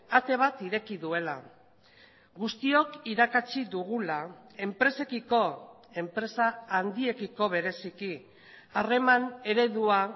ate bat ireki duela guztiok irakatsi dugula enpresekiko enpresa handiekiko bereziki harreman eredua